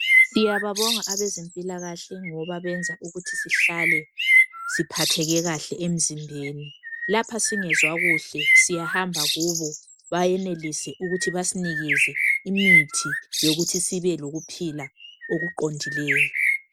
siyababonga abezempilakahle ngoba bayasiyenza sihlale siphatheke kahle emzimbeni lapho singezwa kuhle siyahamba kubo basinike imithi yokuthi sibe lokuphila okuqhondileyo